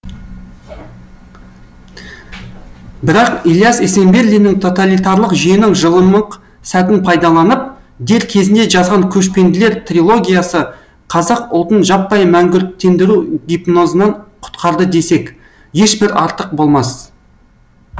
бірақ ілияс есенберлиннің тоталитарлық жүйенің жылымық сәтін пайдаланып дер кезінде жазған көшпенділер трилогиясы қазақ ұлтын жаппай мәңгүрттендіру гипнозынан құтқарды десек ешбір артық болмас